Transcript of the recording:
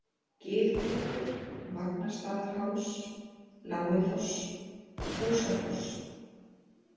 Gilklettur, Vagnstaðaháls, Lágifoss, Fúsafoss